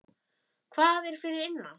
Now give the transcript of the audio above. Hvað er fyrir innan?